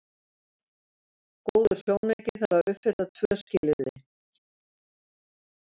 Góður sjónauki þarf að uppfylla tvö skilyrði.